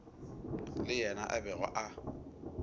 le yena a bego a